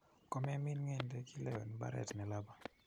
Komemin ng'endek, ilewen mbaret nelaba.